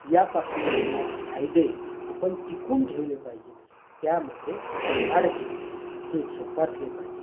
यापासून मिळणारे फायदे आपण टिकवून ठेवले पाहिजेत. त्यामध्ये वाढ केली पाहिजे. ते जोपासले पाहिजेत.